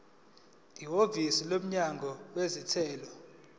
ihhovisi lomnyango wezentela